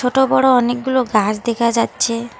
ছোট-বড় অনেকগুলো গাস দেখা যাচ্ছে।